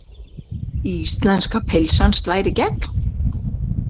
Íslenska pylsan slær í gegn